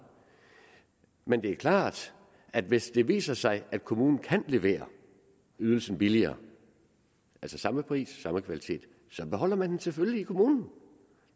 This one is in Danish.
men det er klart at hvis det viser sig at kommunen kan levere ydelsen billigere altså samme pris samme kvalitet så beholder man den selvfølgelig i kommunen